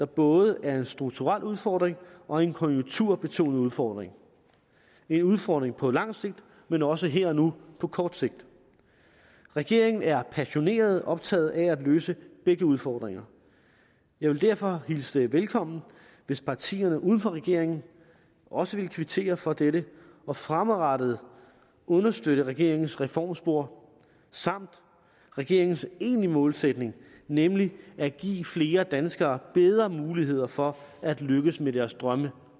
både er en strukturel udfordring og en konjunkturbetonet udfordring en udfordring på lang sigt men også her og nu på kort sigt regeringen er passioneret optaget af at løse begge udfordringer jeg vil derfor hilse det velkommen hvis partierne uden for regeringen også ville kvittere for dette og fremadrettet støtte regeringens reformspor samt regeringens egentlige målsætning nemlig at give flere danskere bedre muligheder for at lykkes med deres drømme